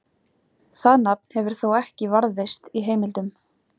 Það nafn hefur þó ekki varðveist í heimildum.